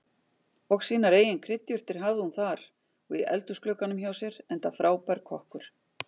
Og sínar eigin kryddjurtir hafði hún þar og í eldhúsglugganum hjá sér, enda frábær kokkur.